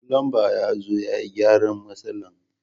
Fulumba ya zo ya gyaran matsalan.